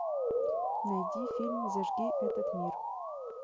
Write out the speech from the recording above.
найди фильм зажги этот мир